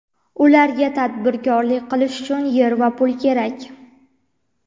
Ularga tadbirkorlik qilish uchun yer va pul kerak.